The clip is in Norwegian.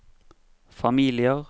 familier